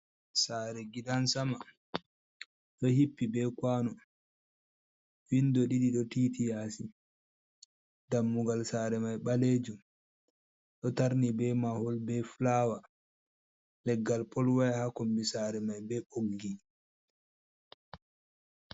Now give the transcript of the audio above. Saare gidan sama, ɗo hippi be kwano. Windo ɗiɗi ɗo titi yaasi, dammugal saare mai ɓaleejum, ɗo tarni be mahol, be fulawa. Leggal polwaya haa kombi saare mai be ɓoggi.